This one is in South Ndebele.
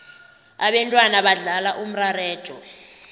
abentwana badlala umarareja